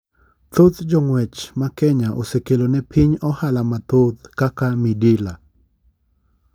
thoth jong'uech makenya osekelo ne piny ohala mathoth, kaka midila.